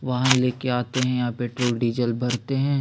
वाहन लेके आते हैं यहाँ पेट्रोल डीजल भरते हैं।